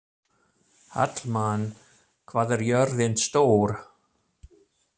Hallmann, hvað er jörðin stór?